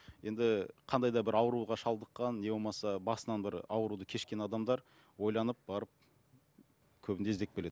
енді қандай да бір ауруға шалдыққан не болмаса басынан бір ауруды кешкен адамдар ойланып барып көбінде іздеп келеді